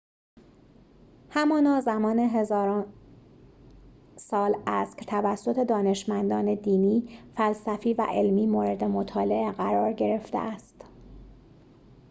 همانا زمان هزاران سال است که توسط دانشمندان دینی فلسفی و علمی مورد مطالعه قرار گرفته است